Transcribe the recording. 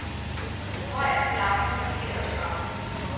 Røg og flammer blokerede trappen.